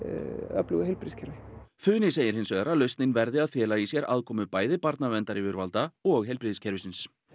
öflugu heilbrigðiskerfi funi segir hins vegar að lausnin verði að fela í sér aðkomu bæði barnaverndaryfirvalda og heilbrigðiskerfisins